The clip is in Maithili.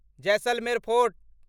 जैसलमेर फोर्ट